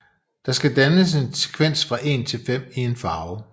Der skal dannes en sekvens fra 1 til 5 i en farve